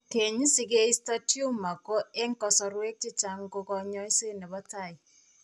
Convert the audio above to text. Keeny' si keisto tumor ko eng' kasarwek chechang' ko kaany'ayseet ne po tai.